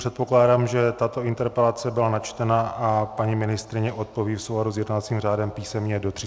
Předpokládám, že tato interpelace byla načtena a paní ministryně odpoví v souladu s jednacím řádem písemně do 30 dnů.